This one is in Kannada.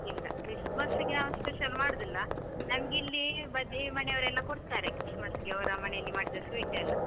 ಇಲ್ಲ ಕ್ರಿಸ್ಮಸ್ಗೆ ನಾವು special ಮಾಡುದಿಲ್ಲ, ನಮ್ಗೆ ಇಲ್ಲೀ ಬದಿ ಮನೇವ್ರೆಲ್ಲ ಕೊಡ್ತಾರೆ, ಕ್ರಿಸ್ಮಸ್ಗೆ ಅವರ ಮನೆಯಲ್ಲಿ ಮಾಡಿದ sweet ಎಲ್ಲ.